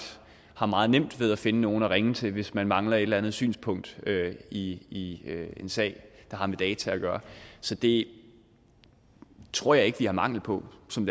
har meget nemt ved at finde nogle at ringe til hvis man mangler et eller andet synspunkt i en sag der har med data at gøre så det tror jeg ikke at vi har mangel på som